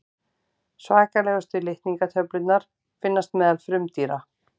svakalegustu litningatölurnar finnast meðal frumdýra